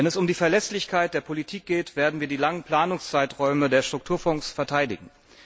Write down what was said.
Wenn es um die Verlässlichkeit der Politik geht, werden wir die langen Planungszeiträume der Strukturfonds verteidigen.